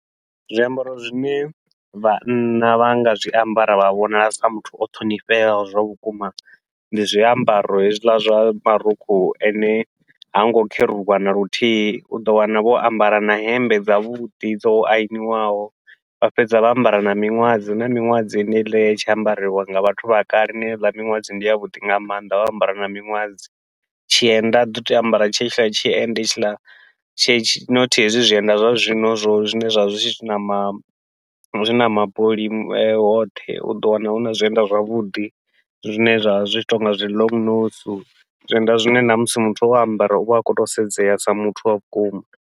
Zwiambaro zwine vhanna vha nga zwiambara vha vhonala sa muthu o ṱhonifheaho zwavhukuma, ndi zwiambaro hezwiḽa zwa marukhu ane hango kheruwa naluthihi uḓo wana vho ambara na hemmbe dzavhuḓi dzo aniwaho, vha fhedza vha ambara na miṅwadzi huna miṅwadzi heneiḽa ye ya itshi ambariwa nga vhathu vha kale heiḽa miṅwadzi ndi yavhuḓi nga maanḓa, vha ambara na miṅwadzi. Tshienda uḓi tou ambara tshetshiḽa tshienda hetshiḽa tshe tshi nothi hezwi zwienda zwa zwino zwo zwine zwavha zwi nama zwina mabuli hoṱhe, uḓo wana huna zwienda zwavhuḓi zwine zwa vha zwi tshi tonga zwi long nose, zwienda zwine namusi muthu o ambara uvha a khou tou sedzea sa muthu wa vhukuma.